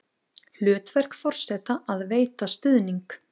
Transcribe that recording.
Hlutverk forseta að veita stuðning